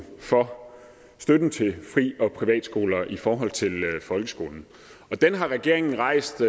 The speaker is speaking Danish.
for støtten til fri og privatskoler i forhold til folkeskolen den har regeringen rejst